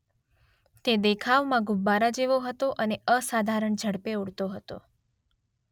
તે દેખાવમાં ગુબ્બારા જેવો હતો અને તે અસાધારણ ઝડપે ઉડતો હતો.